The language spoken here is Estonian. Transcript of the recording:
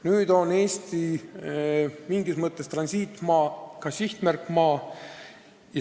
Nüüd on Eesti mingis mõttes transiitmaa, ka sihtmärkmaa.